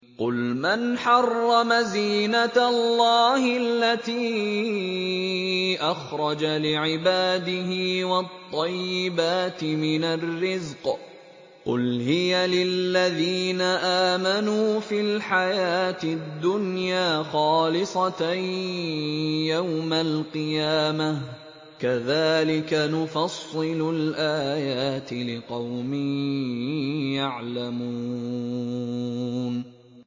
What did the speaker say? قُلْ مَنْ حَرَّمَ زِينَةَ اللَّهِ الَّتِي أَخْرَجَ لِعِبَادِهِ وَالطَّيِّبَاتِ مِنَ الرِّزْقِ ۚ قُلْ هِيَ لِلَّذِينَ آمَنُوا فِي الْحَيَاةِ الدُّنْيَا خَالِصَةً يَوْمَ الْقِيَامَةِ ۗ كَذَٰلِكَ نُفَصِّلُ الْآيَاتِ لِقَوْمٍ يَعْلَمُونَ